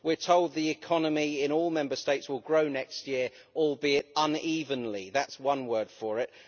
We are told the economy in all Member States will grow next year, albeit unevenly that is one word for it.